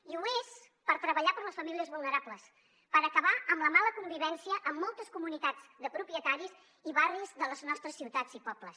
i ho és per treballar per les famílies vulnerables per acabar amb la mala convivència en moltes comunitats de propietaris i barris de les nostres ciutats i pobles